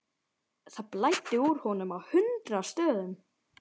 Það blæddi úr honum á hundrað stöðum.